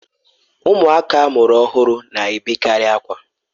Ụmụaka amụrụ ọhụrụ na-ebekarị akwa